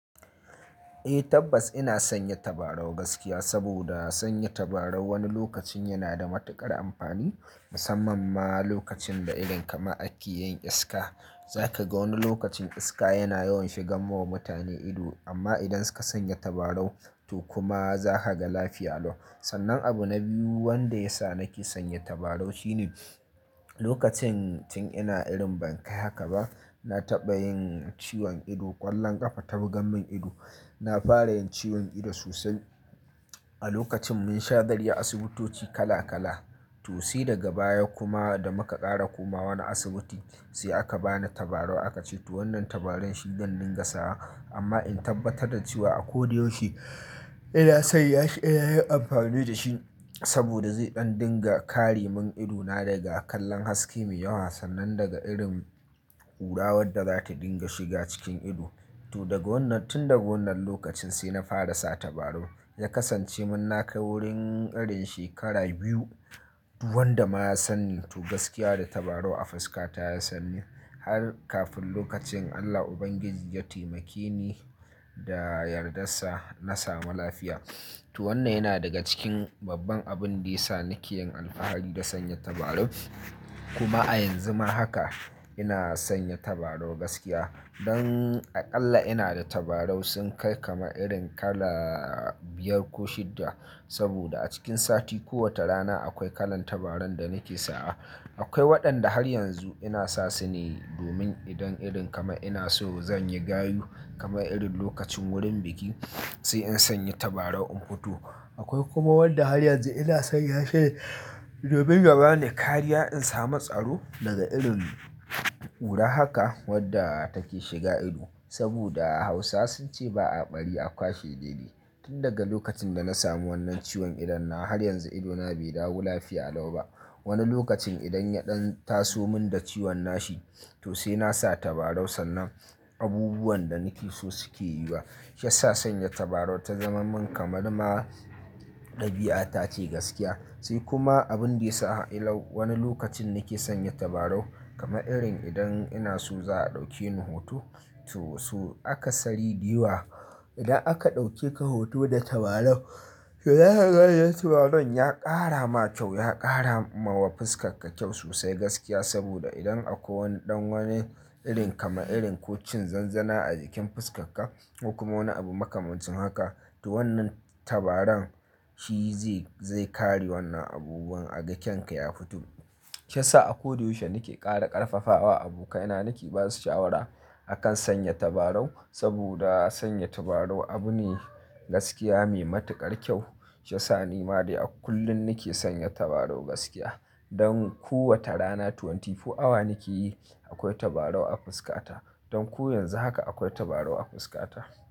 Eh tabbas ina sanya tabarau gaskiya saboda sanya tabarau wani lokacin yana da matuƙar amfani musamman ma lokacin da irin kamar ake yin iska. Zaka ga wani lokacin iska yana yawan shigan ma mutane ido amma idan suka sanya tabarau to kuma zaka ga lafiya lau. Sannan abu na biyu wanda yasa nake sanya tabarau shine lokacin tun ina irin ban kai haka ba, na taɓa yin ciwon ido ƙwallon ƙafa ta buga mun ido. Na fara yin ciwon ido sosai. A lokacin mun sha zaryar asibitoci kala kala to sai daga baya kuma da muka ƙara komawa wani asibiti sai aka bani tabarau aka ce to wannan tabaran shi zan dinga sawa amma in tabbatar da cewa a ko da yaushe ina sanyashi ina yin amfani da shi saboda zai ɗan dinga kare min idona daga kallon haske mai yawa sannan daga irin ƙura wadda zata dinga shiga cikin ido. To daga wannan tun daga wannan lokacin sai na fara sa tabarau. Ya kasance mun na kai wurin irin shekara biyu duk wanda ma ya sanni to gaskiya da tabarau a fuska ta ya sanni har kafin lokacin Allah ubangiji ya taimakeni da yardarsa na samu lafiya. To wannan yana daga cikin babban abin da yasa nake yin alfahari da sanya tabarau kuma a yanzu ma haka ina sanya tabarau gaskiya. Don aƙalla ina da tabarau sun kai kaman irin kala biyar ko shidda saboda a cikin sati kowata rana akwai kalan tabaran da nake sa. Akwai waɗanda har yanzu ina sa su ne domin idan irin kama ina so zan yi gayu kama irin lokacin wurin biki sai in sanya tabarau in huto. Akwai kuma wadda har yanzu ina san ya shi ne domin ya bani kariya in samu tsaro daga irin ƙura haka wadda take shiga ido saboda Hausawa sun ce ba a bari a kwashe dede. Tun daga lokacin da na samu wannan ciwon idan nawa har yanzu idona bai dawo lafiya lau ba. Wani lokacin idon ya ɗan taso mun da ciwon nashi to sai na sa tabarau sannan abubuwan da nake so suke yiwa. Ya sa sanya tabarau ta zaman mun kamar ma ɗabi'a tace gaskiya. Sai kuma abin da ya sa ilau wani lokacin nake sanya tabarau kamar irin idan ina so za a ɗauke ni huto to so aka sari dayawa. Idan aka ɗauke ka huto da tabarau, toh za kaga tabaran ya ƙara ma kyau ya ƙara ma wa fuskarka kyau sosai gaskiya saboda idan akwai ɗan wani irin kama irin ko cin zanzana a jikin fuskarka kuma wani abu maka manci haka to wannan tabaran shi zai zai kare wannan abubuwan a ga kyan ka ya fito. Ya sa a ko da yaushe nake ƙara ƙarfafawa abokaina nake ba su shawara a kan sanya tabarau saboda sanya tabarau abu ne gaskiya mai matuƙar kyau. Ya sa ni ma dai kullum nake sanya tabarau gaskiya. Don kowace rana 24 awa nake yi akwai tabarau a fuskata. Don ko yanzu haka akwai tabarau a fuskata.